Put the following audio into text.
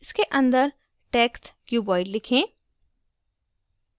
इसके अंदर test cuboid लिखें